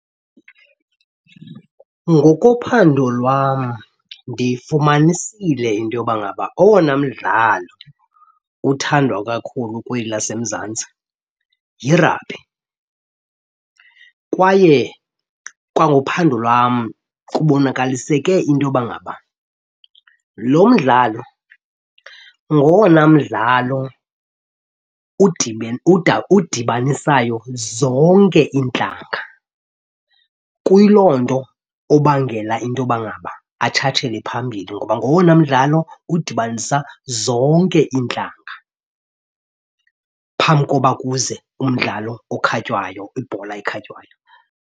Ngokophando lwam ndifumanisile into yoba ngaba owona mdlalo uthandwa kakhulu kweli laseMzantsi yirabhi. Kwaye kwangophando lwam kubonakaliseke into yoba ngaba lo mdlalo ngowona mdlalo udibanisayo zonke iintlanga. Kuyi loo nto obangela into yoba ngaba atshatshele phambili ngoba ngowona mdlalo udibanisa zonke iintlanga phambi koba kuze umdlalo okhatywayo, ibhola ekhatywayo.